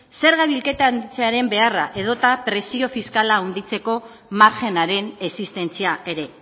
zerga bilketatzearen beharra edota prezio fiskala handitzeko margenaren existentzia ere